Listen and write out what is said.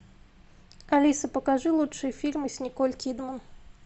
алиса покажи лучшие фильмы с николь кидман